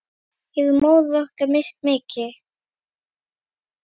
Hefur móðir okkar misst mikið.